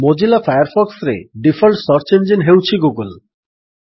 Mozilla ଫାୟାରଫକ୍ସରେ default search engine ହେଉଛି Google